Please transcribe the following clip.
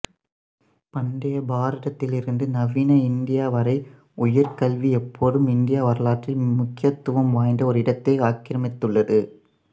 பண்டைய பாரதத்திலிருந்து நவீன இந்தியா வரை உயர் கல்வி எப்போதும் இந்திய வரலாற்றில் முக்கியத்துவம் வாய்ந்த ஒரு இடத்தை ஆக்கிரமித்துள்ளது